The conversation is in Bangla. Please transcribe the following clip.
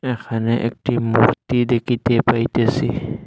এখানে একটি মূর্তি দেখিতে পাইতেসি।